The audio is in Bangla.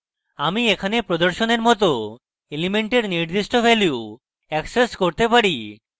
আমি এখানে প্রদর্শনের মত element নির্দিষ্ট value অ্যাক্সেস করতে পারি